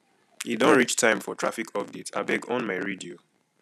e don reach time for traffic update abeg on my radio